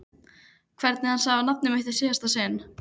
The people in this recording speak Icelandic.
Hvernig hann sagði nafnið mitt í síðasta sinn.